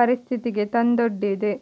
ಪರಿಸ್ಥಿತಿಗೆ ತಂದೊಡ್ಡಿದೆ